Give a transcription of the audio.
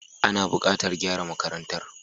Ana bukatar gyara makarantar.